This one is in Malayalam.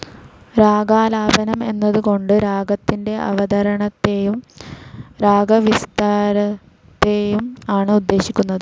രാഗാലാപനം എന്നത് കൊണ്ട് രാഗത്തിൻ്റെ അവതരണത്തെയും രാഗവിസ്താരത്തെയും ആണ് ഉദ്ദേശിക്കുന്നത്.